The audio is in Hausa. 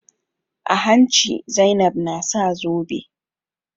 A hanci Zainab na sa zobe.